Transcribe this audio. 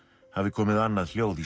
hafi komið annað hljóð í